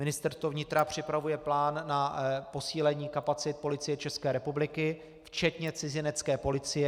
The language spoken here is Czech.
Ministerstvo vnitra připravuje plán na posílení kapacit Policie České republiky včetně cizinecké policie.